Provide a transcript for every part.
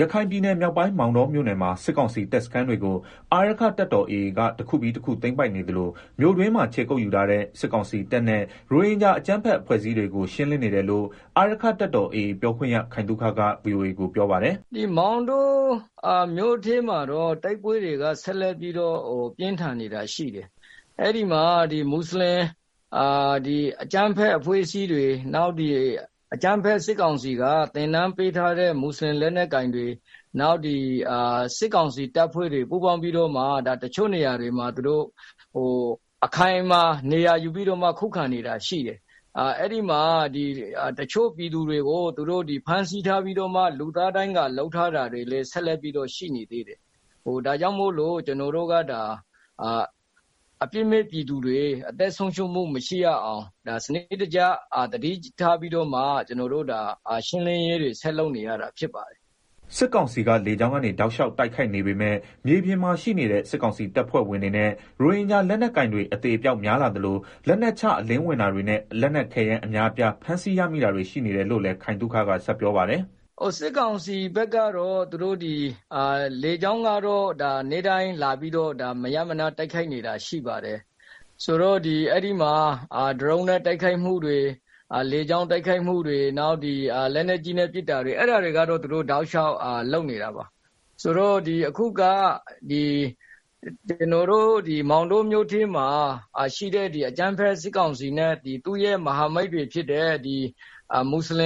ရခိုင်ပြည်နယ်မြောက်ပိုင်း မောင်တောမြို့နယ်မှာ စစ်ကောင်စီတပ်စခန်းတွေကို အာရက္ခတပ်တော် AA က တခုပြီးတခု သိမ်းပိုက်နေသလို မြို့တွင်းမှာ ခြေကုတ်ယူထားတဲ့ စစ်ကောင်စီတပ်နဲ့ ရိုဟင်ဂျာ အကြမ်းဖက်အဖွဲ့အစည်းတွေကို ရှင်းလင်းနေတယ်လို့ အာရက္ခတပ်တော် AA ပြောခွင့်ရ ခိုင်သုခက ဗွီအိုအေကို ပြောပါတယ်။ “ မောင်တော မြို့ထဲမှာတော့ တိုက်ပွဲတွေက ဆက်လက်ပြီးတော့ ပြင်းထန်နေတာရှိတယ်၊ အဲဒီမှာ မွတ်ဆလင်ကြမ်းဖက်အဖွဲ့အစည်းတွေ၊ နောက်ပြီးတော့ အကြမ်းဖက်စစ်ကောင်စီက သင်တန်းပေးထားတဲ့ မွတ်ဆလင်လက်နက်ကိုင်တွေ၊ နောက် စစ်ကောင်စီတပ်ဖွဲ့တွေ ပူးပေါင်းပြီးတော့ တချို့နေရာတွေမှာ အခိုင်အမာ နေရာယူပြီးတော့မှ ခုခံနေတာရှိတယ်။ အဲဒီမှာ တချို့ပြည်သူတွေကို သူတို့ဖမ်းဆီးပြီးတော့ လူသားဒိုင်းကာ လုပ်ထားတာတွေဆက် လက်ပြီးတော့ ရှိနေတယ်။ ဒါကြောင့်မို့လို့ ကျနော်တို့က ဒါ အပြစ်မဲ့ပြည်သူတွေ အသက်ဆုံးရှုံးမှု မရှိရအောင် စနစ်တကျ သတိထားပြီးတော့ ရှင်းလင်းရေးတွေ ဆက်လုပ်နေရတာ ဖြစ်ပါတယ်။” စစ်ကောင်စီက လေကြောင်းကနေ တောက်လျှောက် တိုက်ခိုက်နေပေမဲ့ မြေပြင်မှာ ရှိနေတဲ့ စစ်ကောင်စီတပ်ဖွဲ့ဝင်တွေနဲ့ ရိုဟင်ဂျာ လက်နက်ကိုင်တွေ အသေအပျောက် များလာသလို လက်နက်ချ အလင်းဝင်တာတွေနဲ့ လက်နက်ခဲယမ်း အများ အပြားဖမ်း ဆီးရမိတာတွေရှိတယ်လို့လည်းက ခိုင်သုခက ဆက်ပြောပါတယ်။ “ စစ်ကောင်စီဘက်ကတော့ လေကြောင်းက နေ့တိုင်းလာပြီးတော့ မရပ်မနားတိုက်ခိုက်နေတာ ရှိပါတယ်။ ဆိုတော့ အဲဒီမှာ ဒရုန်းနဲ့ တိုက်ခိုက်မှုတွေ၊ လေကြောင်းတိုက်ခိုက်မှုတွေ၊ နောက် လက်နက်ကြီးတွေနဲ့ ပစ်တာတွေ အဲတာတွေကတော့ တောက်လျှောက် လုပ်နေတာပါ။ ကျနော်တို့ကတော့ မောင်တောမြို့ထဲမှာရှိတဲ့ အကြမ်းဖက်စစ်ကောင်စီနဲ့ မဟာမိတ် မွတ်ဆလ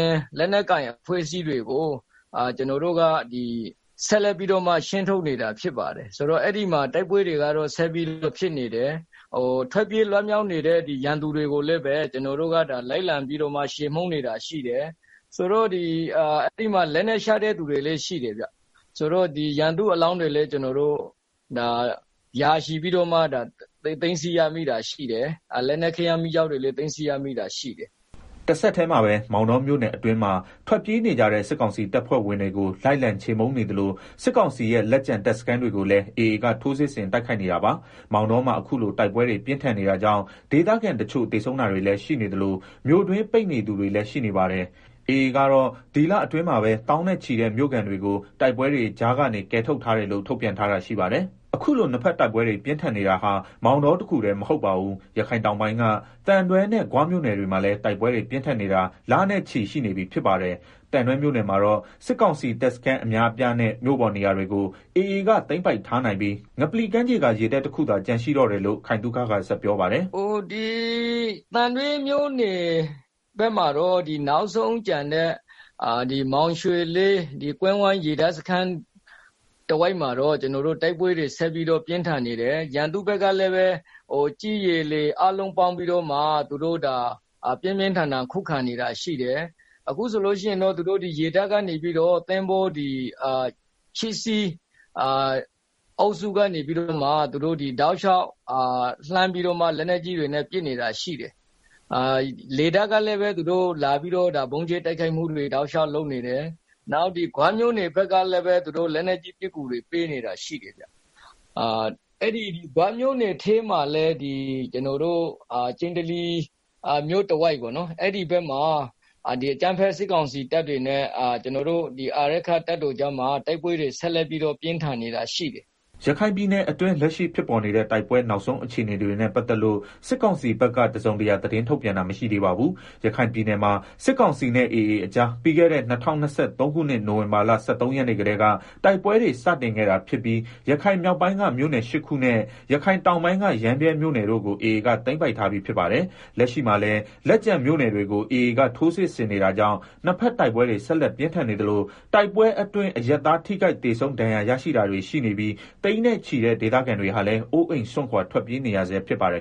င် လက်နက်ကိုင်တွေကို လိုက်ပြီးတော့ ရှင်းထုတ်နေတာရှိတယ်။ ထွက်ပြေး လွတ်မြောက်နေတဲ့ ရန်သူတွေကိုလည်း လိုက်လံ ချေမှုန်းနေတာရှိတယ်။ အဲဒီမှာ လက်နက်ချတဲ့ သူတွေလည်းရှိတယ်။ ရန်သူ့အလောင်းတွေလည်း ရာချီပြီးတော့ သိမ်းဆည်း ရမိတာရှိတယ်။ လက်နက်ခဲယမ်းမီးကျောက်တွေလည်း သိမ်းဆည်းရမိတာ ရှိတယ်။” တဆက်တည်းမှာပဲ မောင်တောမြို့နယ်အတွင်းမှာထွက်ပြေးနေကြတဲ့ စစ်ကောင်စီတပ်ဖွဲ့ ဝင်တွေကို လိုက်လံချေးမှုန်းနေသလို စစ်ကောင်စီရဲ့ လက်ကျန်တပ်စခန်းတွေကိုလည်း AA က ထိုးစစ်ဆင် တိုက်ခိုက်နေတာပါ။ မောင်တောမှာ အခုလို တိုက်ပွဲတွေ ပြင်းထန်နေတာကြောင့် ဒေသခံတချို့ သေဆုံးတာတွေလည်း ရှိနေသလို မြို့တွင်း ပိတ်နေသူတွေလည်း ရှိနေပါတယ်။ AA ကတော့ ဒီလအတွင်းမှာပဲ သောင်းနဲ့တဲ့ မြို့ခံတွေကို တိုက်ပွဲတွေကြားကနေ ကယ်ထုတ်ထားတယ်လို့ ထုတ်ပြန်ထားတာ ရှိပါတယ်။ အခုလို နှစ်ဘက်တိုက်ပွဲတွေ ပြင်းထန်နေတာဟာ မောင်တောတခုတည်းမဟုတ်ပါဘူး။ ရခိုင်တောင်ပိုင်းက သံတွဲနဲ့ ဂွမြို့နယ်တွေမှာလည်း တိုက်ပွဲတွေ ပြင်းထန်နေတာ လနဲ့ချီ ရှိနေပြီဖြစ်ပါတယ်။ သံတွဲမြို့နယ်မှာတော့ စစ်ကောင်စီတပ်စခန်းအများအပြားနဲ့ မြို့ပေါ် နေရာတွေကို AA က သိမ်းပိုက်ထားနိုင်ပြီး ငပလီကမ်းခြေက ရေတပ်တခုသာ ကျန်ရှိတော့တယ်လို့ ခိုင်သုခက ဆက်ပြောပါတယ်။ “ သံတွဲမြို့နယ်ဘက်မှာတော့ နောက်ဆုံးကျန်တဲ့ မောင်ရွှေလေး ကွင်းဝိုင်းရေတပ်စခန်း တဝှိုက်မှာတော့ တိုက်ပွဲတွေ ဆက်ပြင်းထန်နေတယ်။ ရန်သူ့ဘက်ကလည်း ကြည်း၊ ရေ၊ လေ အားလုံးပေါင်းပြီးတော့မှ ပြင်းပြင်းထန်ထန် ခုခံနေတာရှိတယ်။ အခုဆိုရင် သူတို့ရေတပ်ကနေပြီးတော့ သင်္ဘော ၈စီးနဲ့ တောက်လျောက် လက်နက်ကြီးတွေနဲ့ ပစ်နေတာရှိတယ်။ လေတပ်ကလည်း လာပြီးတော့ ဗုံးကြဲ တိုက်ခိုက်နေတာရှိတယ်။ နောက် ဂွမြို့နယ်ဘက်ကလည်းပဲ လက်နက်ကြီးပစ်ကူတွေ ပေးနေတယ်။ ဂွမြို့နယ်ထဲမှာလည်း ကျနော်တို့ ကျိန္တလီမြို့ တဝိုက်ပေါ့နော်၊ အဲဒီ ဘက်မှာ အကြမ်းဖက်စစ်ကောင်စီတပ်တွေနဲ့ အာရက္ခတပ်တော်ကြားမှာ တိုက်ပွဲတွေ ဆက်လက် ပြင်းထန်နေတာရှိတယ်။” ရခိုင်ပြည်နယ်အတွင်း လက်ရှိဖြစ်ပေါ်နေတဲ့ တိုက်ပွဲ နောက်ဆုံး အခြေအနေတွေနဲ့ပတ်သက်လို့ စစ်ကောင်စီဘက်က တစုံတရာ သတင်းထုတ်ပြန်တာ မရှိသေးပါဘူး။ ရခိုင်ပြည်နယ်မှာ စစ်ကောင်စီနဲ့ AA အကြား ပြီးခဲ့တဲ့ ၂၀၂၃ခုနှစ် နိုင်ဝင်ဘာလ ၁၃ရက်နေ့ကတည်းက တိုက်ပွဲတွေ စတင်ခဲ့တာဖြစ်ပြီး ရခိုင်မြောက်ပိုင်းက မြို့နယ် ၈ခုနဲ့ ရခိုင်တောင်ပိုင်းက ရမ်းဗြဲမြို့နယ်တို့ကို AA က သိမ်းပိုက်ထားပြီး ဖြစ်ပါတယ်။ လက်ရှိမှာလည်း လက်ကျန်မြို့နယ်တွေကို AA ကထိုးစစ်ဆင်နေတာကြောင့် နှစ်ဘက် တိုက်ပွဲတွေ ဆက်လက်ပြင်းထန်နေသလို တိုက်ပွဲအတွင်း အရပ်သား ထိခိုက် သေဆုံး ဒဏ်ရာရရှိတာတွေရှိနေပြီး သိန်းနဲ့ချီတဲ့ ဒေသခံတွေဟာလည်း အိုးအိမ်စွန့်ခွာ ထွက်ပြေးနေရဆဲဖြစ်ပါတယ်